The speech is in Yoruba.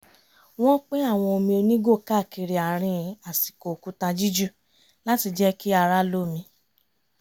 wọ́n pín àwọn omi onígò káàkiri àárín àsìkò òkúta jíjù láti jẹ́ kí ara lómi